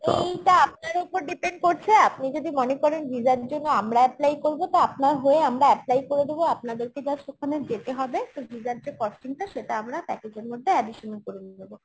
এইটা আপনার উপর depend করছে আপনি যদি মনে করেন visa র জন্য আমরা apply করবো তো আপনার হয়ে আমরা apply করে দেবো আপনাদেরকে just ওখানে just ওখানে যেতে হবে তো visa র যে costing টা সেটা আমরা package এর মধ্যে additional করে নিয়ে নেবো